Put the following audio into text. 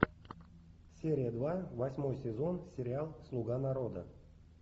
серия два восьмой сезон сериал слуга народа